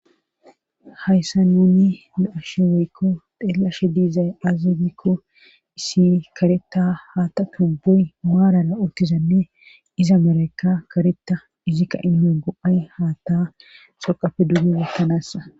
hayssan nuni be7ashe woykko xeellashe diizay aaze gikko issi kareta haata tu boy maarara urtizanne iza merekka kareta izikka inmeo go7ay haata xoqafe duuge wotanaasa